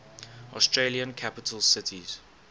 australian capital cities